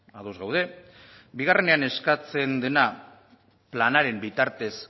ados gaude bigarrenean eskatzen dena planaren bitartez